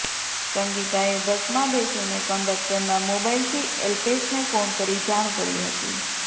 સંગીતાએ બસમાં બેસીને કંડક્ટરના મોબાઇલથી અલ્પેશને ફોન કરી જાણ કરી હતી